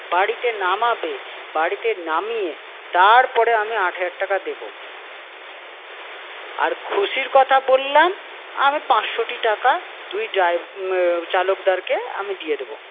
বাড়িতে নামাবে, বাড়িতে নামিয়ে তারপরে আমি আট হাজার দেবো। আর খুশির কথা বললাম, আমি পাঁচশোটি টাকা দুই ড্রাই~ চালকদার কে আমি দিয়ে দেবো।